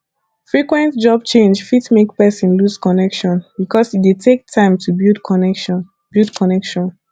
frequent job change fit make person lose connection because e dey take time to build connection build connection